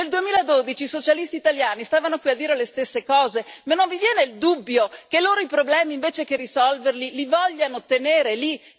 Nel 2012 i socialisti italiani stavano qui a dire le stesse cose ma non vi viene il dubbio che loro i problemi, invece che risolverli, li vogliano tenere lì?